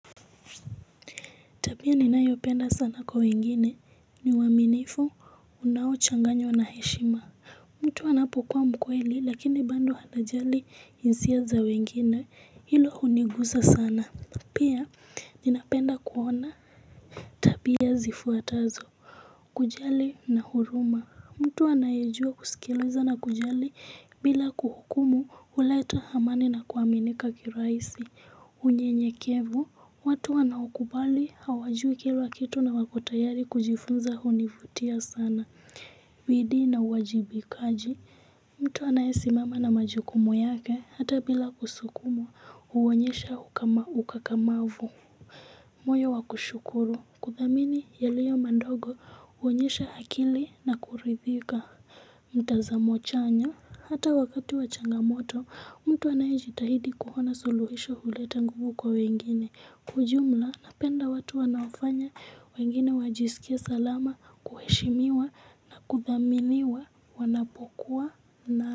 Tabia ninayopenda sana kwa wengine ni uaminifu unaochanganywa na heshima mtu anapokuwa mkweli lakini bado anajali hisia za wengine hilo hunigusa sana pia ninapenda kuona tabia zifuatazo kujali na huruma mtu anayejua kusikiliza na kujali bila kuhukumu huleta amani na kuaminika kirahisi. Unyenyekevu, watu wanaokubali hawajui kila kitu na wako tayari kujifunza hunivutia sana. Bidii na uwajibikaji, mtu anaesimama na majukumu yake, hata bila kusukumwa, huonyesha ukakamavu. Moyo wa kushukuru, kuthamini yaliyo madogo huonyesha akili na kuridhika. Mtazamo chanya hata wakati wa changamoto mtu anayejitahidi kuona suluhisho huleta nguvu kwa wengine kwa ujumla napenda watu anaofanya wengine wajisikie salama kuheshimiwa na kuthaminiwa wanapokuwa na.